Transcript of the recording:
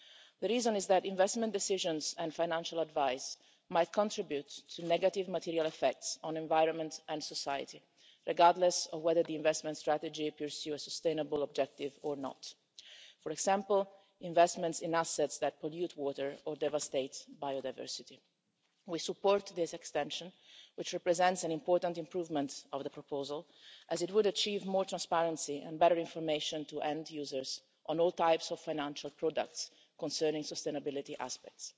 The reason is that investment decisions and financial advice might contribute to negative material effects on environment and society, regardless of whether the investment strategy pursues a sustainable objective or not. For example, investments in assets that pollute water or devastate biodiversity. We support this extension, which represents an important improvement of the proposal as it would achieve more transparency and better information to end users on all types of financial products concerning sustainability aspects.